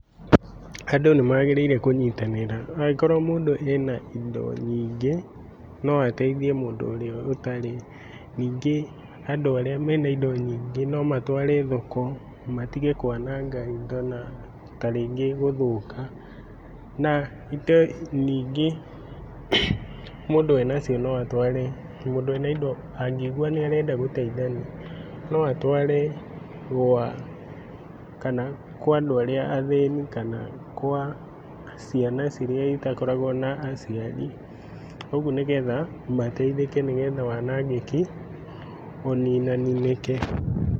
Andũ nĩmagĩrĩire kũnyitanĩra, angĩkorwo mũndũ ena indo nyingĩ, noateithie mũndũ ũrĩa ũtarĩ. Nyingĩ andũ arĩa mena indo nyingĩ nomatware thoko matige kwananga indo na tarĩngĩ gũthũka. Na indo nyingĩ mũndũ enacio no atware, mũndũ ena indo angĩigua nĩarenda gũteithania, no atware gwa, kana kwa andũ arĩa athĩni kana kwa ciana iria citakoragwo na na aciari kuogwo nĩgetha mateithĩke nĩgetha wanangĩki uninaninĩke.